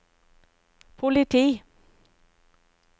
politi